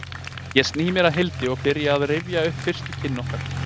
Ég sný mér að Hildi og byrja á því að rifja upp fyrstu kynni okkar.